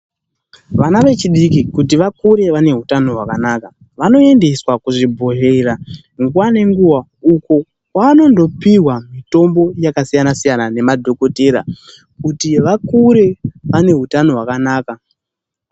Vana vechidiki kuti vakure vane utano hwakanaka vanoendeswa kuzvibhedhlera nguwa nenguwa uko kwavanondopihwa mitombo yakasiyana-siyana ngemadhokotera, kuti vakure vane utano hwakanaka